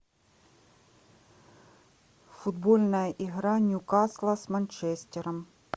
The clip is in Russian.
футбольная игра ньюкасла с манчестером